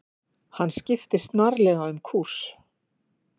Hann skipti snarlega um kúrs.